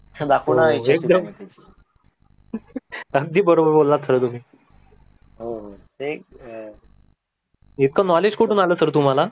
हे त अगदी बरोबर बोलला तुम्ही. इत्क्त knowledge कुटून आल सर तुम्हाला?